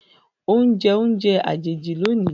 o njẹ oúnjẹ àjèjì lónì.